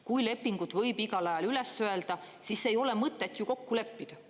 Kui lepingut võib igal ajal üles öelda, siis ei ole mõtet ju kokku leppida.